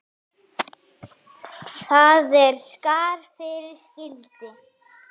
Þar er skarð fyrir skildi.